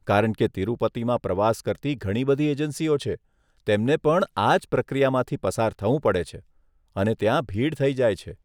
કારણ કે તિરુપતિમાં પ્રવાસ કરતી ઘણી બધી એજન્સીઓ છે, તેમને પણ આ જ પ્રક્રિયામાંથી પસાર થવું પડે છે, અને ત્યાં ભીડ થઈ જાય છે.